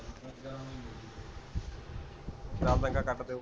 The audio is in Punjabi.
ਕੱਟ ਦਿਓ